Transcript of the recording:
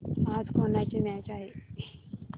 आज कोणाची मॅच आहे